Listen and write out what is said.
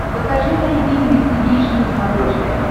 покажи айди инвестигейшн на смотрешке